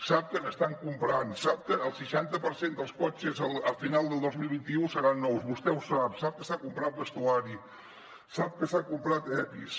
sap que n’estan comprant sap que el seixanta per cent dels cotxes a final del dos mil vint u seran nous vostè ho sap sap que s’ha comprat vestuari sap que s’han comprat epis